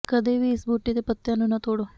ਕਦੇ ਵੀ ਇਸ ਬੂਟੇ ਦੇ ਪੱਤੀਆਂ ਨੂੰ ਨਾ ਤੋੜੇਂ